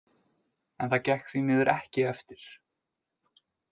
En það gekk því miður ekki eftir.